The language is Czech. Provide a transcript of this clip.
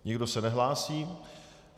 Nikdo se nehlásí.